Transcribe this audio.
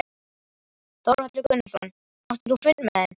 Þórhallur Gunnarsson: Áttir þú fund með þeim?